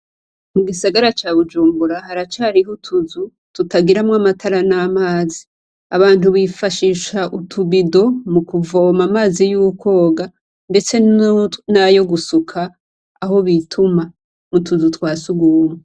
Mu gisagara Bujumbura, haracariho utuzu tutagiramwo amatara n' amazi, abantu bifashisha utubido, mu kuvoma amazi y' ukwoga, ndetse nayo gusuka aho bituma . Mu tuzu twa surwumwe.